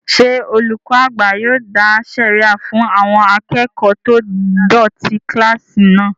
Ṣé olùkọ́ àgbà yóò dá sẹ̀ríyà fún àwọn akẹ́kọ̀ọ́ tó dọ̀tí kílásì náà?